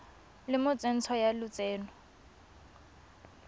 le mo tsentsho ya lotseno